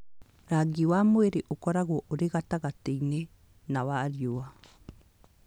Rangi wa mwĩrĩ ũkoragwo ũrĩ wa gatagatĩ-inĩ na wa riũa